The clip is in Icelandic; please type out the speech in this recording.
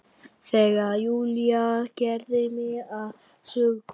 Þegar Júlía gerði mig að sögukonu.